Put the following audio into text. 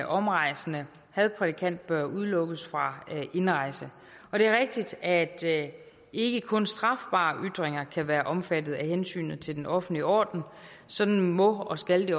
omrejsende hadprædikant bør udelukkes fra indrejse og det er rigtigt at ikke kun strafbare ytringer kan være omfattet af hensynet til den offentlige orden sådan må og skal det